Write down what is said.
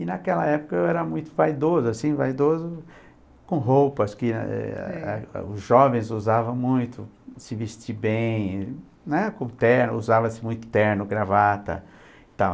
E naquela época eu era muito vaidoso, assim, vaidoso com roupas eh... que os jovens usavam muito, se vestir bem, né, usava-se muito terno, gravata e tal.